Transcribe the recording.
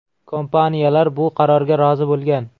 Kompaniyalar bu qarorga rozi bo‘lgan.